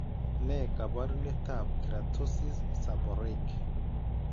Ne kaabarunetap Keratosis, seborrheic?